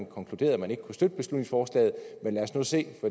konkludere at man ikke kunne støtte beslutningsforslaget men lad os nu se